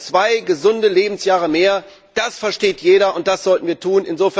Zwei gesunde Lebensjahre mehr, das versteht jeder, das sollten wir tun.